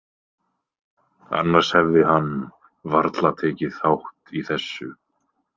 Annars hefði hann varla tekið þátt í þessu.